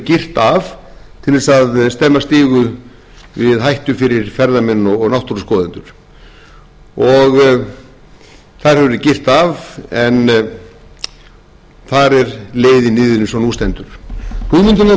stemma stigu við hættu fyrir ferðamenn og náttúruskoðendur þar hefur verið girt af en þar er leiðin niður eins og nú stendur hugmyndin að göngum